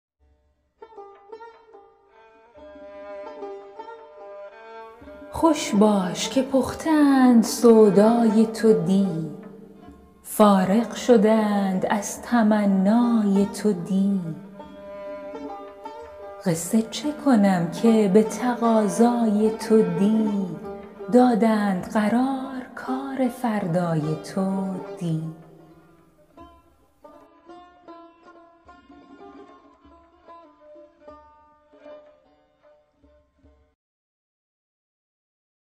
خوش باش که پخته اند سودای تو دی فارغ شده اند از تمنای تو دی قصه چه کنم که به تقاضای تو دی دادند قرار کار فردای تو دی